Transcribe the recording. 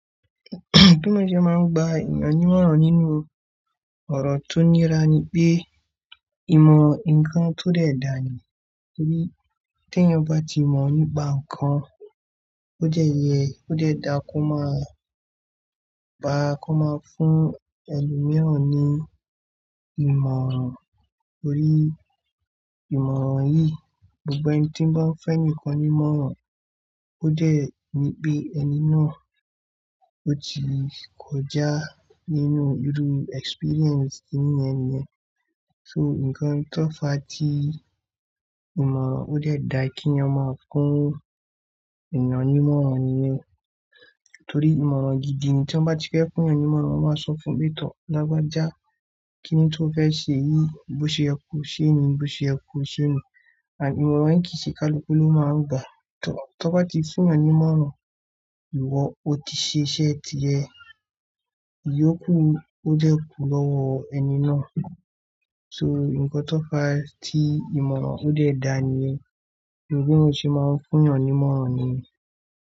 Bí mo ṣe máa ń gba ìyànju na nínú ọ̀rọ̀ tó nira ni pé, ìmọ̀ nǹkan tó dẹ̀ dà ni. Torí tí ẹyan ba ti mọ̀ nípa nǹkan, ó jẹ̀ yẹ ó dẹ̀ da kó máa gba, kó máa fún ẹlòmíràn ní ìmọ̀ràn. Torí ìmọ̀ràn yìí, gbogbo ẹni tí ń bá fẹ́ ẹni kan ní ìmọ̀ràn, ó jẹ̀ ni pé ẹni náà ó ti kọjá nínú irú experience inú ẹniyẹn. So nǹkan tó fà tí ìmọ̀ràn ó dẹ̀ dà kí ẹyan ma fún ìyànwímọ́ràn niyen, torí ìmọ̀ràn gidi ẹni tí wọ́n bá ti fẹ́ fún ìyànwímọ́ràn máa sọ fún un pé, "tọ́ lagbaja já kíni tó fẹ́ ṣe yìí, bó ṣe yẹ kò ṣe ni, bó ṣe yẹ kò ṣe ni." Ànd ìmọ̀ràn yii kìí ṣe kaluku ló máa ń gbà. Tọ́ bá ti fún ìyànwímọ́ràn, ìwọ ó ti ṣe iṣẹ́ ti ẹ. Èyí ó kù ó jẹ́ kú lọ́wọ ẹni náà. So nǹkan tó fà tí ìmọ̀ràn ó dẹ̀ dà ni yẹn. Bí mo ṣe máa ń fún ìyànnímọ́ràn ni.